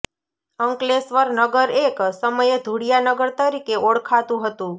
અંકલેશ્વર નગર એક સમયે ધુળિયા નગર તરીકે ઓળખાતુ હતું